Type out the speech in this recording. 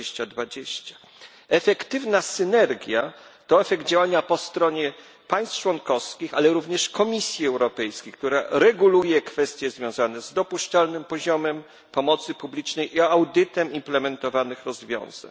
2020. Efektywna synergia to efekt działania po stronie państw członkowskich, ale również Komisji Europejskiej, która reguluje kwestie związane z dopuszczalnym poziomem pomocy publicznej i audytem implementowanych rozwiązań.